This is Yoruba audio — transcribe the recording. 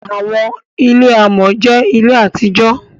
Àwọńilẹ̀ àmọ̀ jẹ́ ilẹ̀ àti jò.